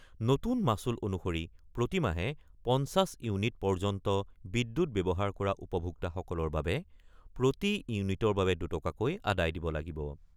নতুন মাচুল অনুসৰি প্ৰতিমাহে ৫০ ইউনিট পৰ্যন্ত বিদ্যুৎ ব্যৱহাৰ কৰা উপভোক্তাসকলৰ বাবে প্ৰতি ইউনিটৰ বাবে দুটকাকৈ আদায় দিব লাগিব।